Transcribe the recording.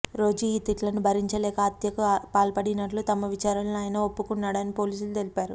రోజూ ఈ తిట్లను భరించలేక హత్యకు పాల్పడినట్టుగా తమ విచారణలో ఆయన ఒప్పుకొన్నాడని పోలీసులు తెలిపారు